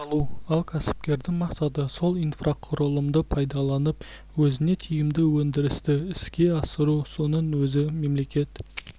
салу ал кәсіпкердің мақсаты сол инфрақұрылымды пайдаланып өзіне тиімді өндірісті іске асыру соның өзі мемлекет